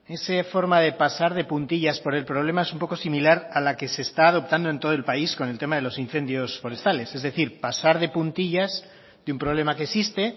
esa forma de pasar de puntillas por el problema es un poco similar a la que se está adoptando en todo el país con el tema de los incendios forestales es decir pasar de puntillas de un problema que existe